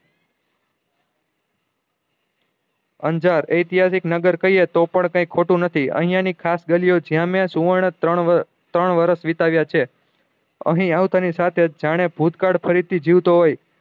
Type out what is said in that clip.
અંજાર એતિહાસિક નગર કહીએ તો પણ કાયિક ખોટું નથી અયીયા ની ખાસ ગલિયો છે અમે સુવર્ણ ત્રણ ત્રણ વર્ષ વિતાવ્યા છે અહી આવતા ની સાથે જાણે ભૂતકાળ ફરી થી જીવતો હોય